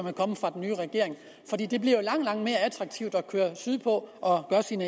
er kommet fra den nye regering fordi det bliver jo langt langt mere attraktivt at køre sydpå og gøre sin